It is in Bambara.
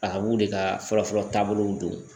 A ka b'u de ka fɔlɔ fɔlɔ taabolow don